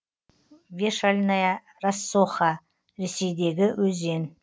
вешальная рассоха ресейдегі өзен